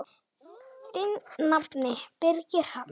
Þinn nafni, Birgir Hrafn.